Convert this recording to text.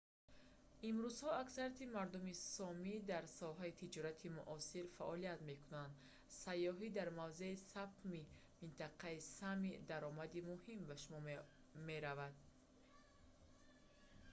имрӯзҳо аксарияти мардуми сомӣ дар соҳаи тиҷорати муосир фаъолият мекунанд сайёҳӣ дар мавзеи сапмии минтақаи сами даромади муҳим ба шумор меравад